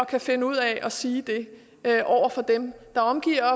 kan finde ud af at sige det over for dem der omgiver